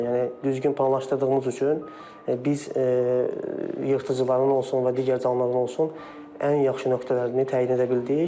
Yəni düzgün planlaşdırdığımız üçün biz yırtıcıların olsun və digər canlıların olsun, ən yaxşı nöqtələrini təyin edə bildik.